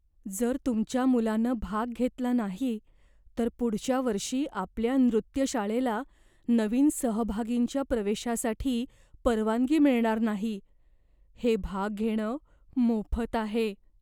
जर तुमच्या मुलानं भाग घेतला नाही तर पुढच्या वर्षी आपल्या नृत्यशाळेला नवीन सहभागींच्या प्रवेशासाठी परवानगी मिळणार नाही. हे भाग घेणं मोफत आहे.